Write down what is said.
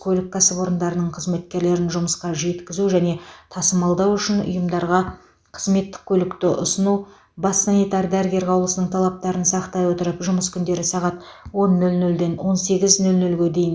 көлік кәсіпорындарының қызметкерлерін жұмысқа жеткізу және тасымалдау үшін ұйымдарға қызметтік көлікті ұсыну бас санитар дәрігер қаулысының талаптарын сақтай отырып жұмыс күндері сағат он нөл нөлден он сегіз нөл нөлге дейін